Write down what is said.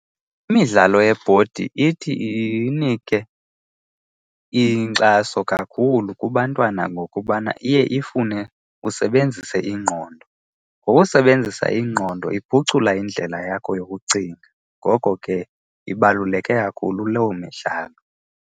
Imidlalo yebhodi ithi inike inkxaso kakhulu kubantwana ngokubana iye ifune usebenzise ingqondo. Ngokusebenzisa ingqondo iphucula indlela yakho yokucinga, ngoko ke ibaluleke kakhulu loo midlalo.